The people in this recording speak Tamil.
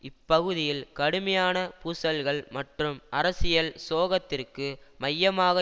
இப்பகுதியில் கடுமையான பூசல்கள் மற்றும் அரசியல் சோகத்திற்கு மையமாக